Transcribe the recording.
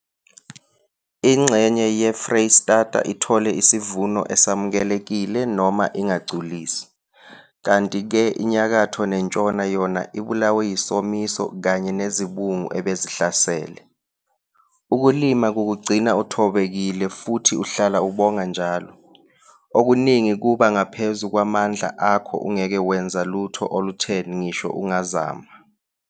Ingxenye yeFreyistata ithole isivuno esamukelekile noma ingagculisi, kanti-ke iNyakatho neNtshona yona ibulawe yisomiso kanye nezibungu ebezihlasele. Ukulima kukugcina uthobekile futhi uhlala ubonga njalo - okuningi kuba ngaphezu kwamandla akho ungeke wenza lutho olutheni ngisho ungazama.